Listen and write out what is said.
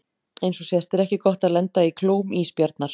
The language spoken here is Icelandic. Eins og sést er ekki gott að lenda í klóm ísbjarnar.